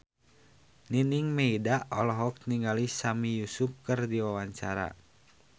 Nining Meida olohok ningali Sami Yusuf keur diwawancara